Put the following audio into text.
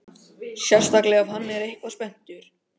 Sérstaklega ef hann er eitthvað spenntur.